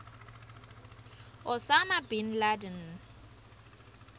osama bin laden